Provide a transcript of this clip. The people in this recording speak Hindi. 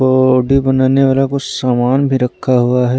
बॉडी बनाने वाला कुछ समान भी रखा हुआ है।